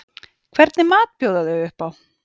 Hvernig mat bjóða þau upp á?